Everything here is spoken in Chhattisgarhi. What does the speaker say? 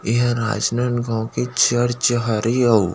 इहे राजनाँदगाँव के चर्च हरे अउ --